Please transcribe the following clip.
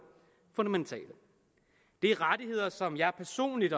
fundamentale det er rettigheder som jeg personligt